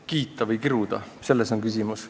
Kiita või kiruda – selles on küsimus.